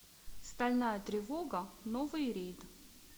стальная тревога новый рейд